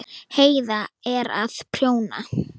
Heiða er að prjóna.